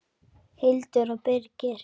Hildur og Birgir.